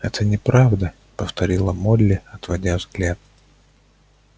это неправда повторила молли отводя взгляд